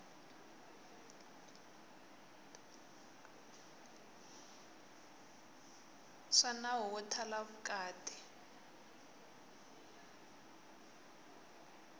swa nawu wo thala vukati